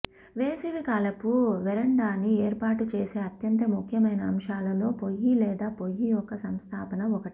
వేసవికాలపు వెరాండాని ఏర్పాటు చేసే అత్యంత ముఖ్యమైన అంశాలలో పొయ్యి లేదా పొయ్యి యొక్క సంస్థాపన ఒకటి